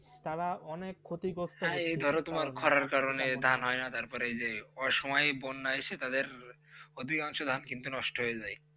তারা অনেক ক্ষতি করছে. করার কারণেই ধান হয় তারপরে যে সময়ে বন্যা আসে তাদের অধিকাংশ ধান কিন্তু নষ্ট হয়ে যায়